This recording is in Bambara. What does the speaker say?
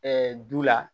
du la